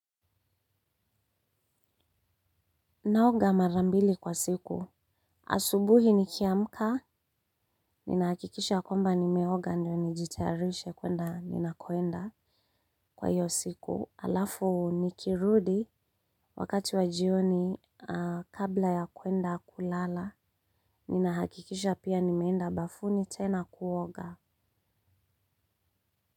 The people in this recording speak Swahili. Naoga mara mbili kwa siku. Asubuhi nikiamka ninahakikisha kwamba nimeoga ndio nijitayarishe kuenda ninakoenda. Kwa hiyo siku alafu nikirudi wakati wa jioni kabla ya kwenda kulala ninahakikisha pia nimeenda bafuni tena kuoga.